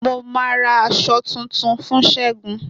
Mo ma ra aṣọ tún fún segun